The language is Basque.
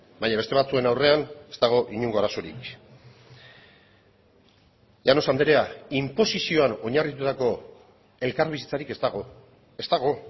baina beste batzuen aurrean ez dago inongo arazorik llanos andrea inposizioan oinarritutako elkarbizitzarik ez dago ez dago